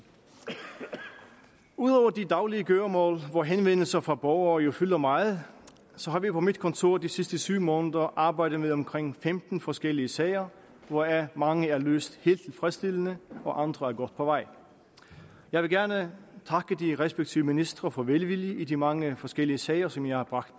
ud over de daglige gøremål hvor henvendelser fra borgere jo fylder meget har vi på mit kontor i de sidste syv måneder arbejdet med omkring femten forskellige sager hvoraf mange er løst helt tilfredsstillende og andre er godt på vej jeg vil gerne takke de respektive ministre for deres velvillighed i de mange forskellige sager som jeg har bragt